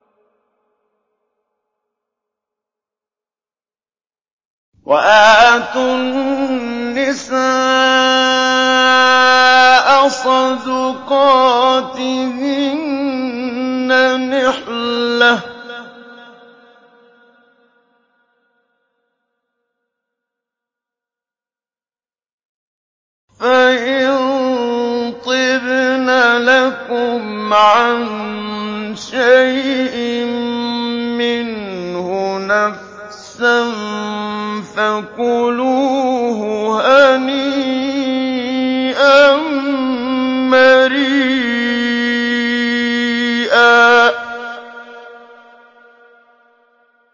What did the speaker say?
وَآتُوا النِّسَاءَ صَدُقَاتِهِنَّ نِحْلَةً ۚ فَإِن طِبْنَ لَكُمْ عَن شَيْءٍ مِّنْهُ نَفْسًا فَكُلُوهُ هَنِيئًا مَّرِيئًا